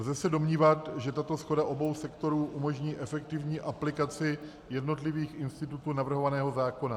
Lze se domnívat, že tato shoda obou sektorů umožní efektivní aplikaci jednotlivých institutů navrhovaného zákona.